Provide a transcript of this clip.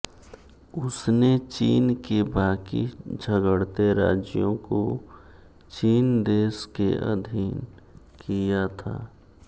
उसने चीन के बाकि झगड़ते राज्यों को चिन देश के अधीन किया था